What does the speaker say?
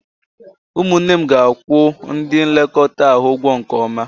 Ụmụnne m ga-akwụ ndị nlekọta ahụ ụgwọ nke ọma